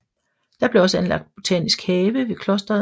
Der blev også anlagt botanisk have ved klosteret